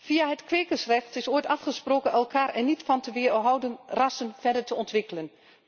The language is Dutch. Via het kwekersrecht is ooit afgesproken elkaar er niet van te weerhouden rassen verder te ontwikkelen.